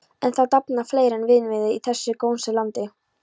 En það dafnar fleira en vínviður í þessu gósenlandi.